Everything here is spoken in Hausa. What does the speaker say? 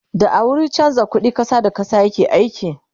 da a wurin chanza ƙuɗi ta ƙasa da ƙasa yake aiki